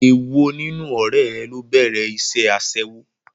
È wo nínú ọ̀rẹ́ rẹ ló bẹ̀rẹ̀ iṣẹ́ Aṣẹ́wó?